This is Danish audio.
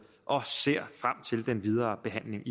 og ser frem til den videre behandling